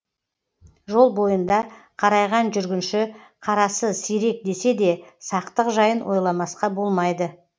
жол бойында қарайған жүргінші қарасы сирек десе де сақтық жайын ойламасқа болмайды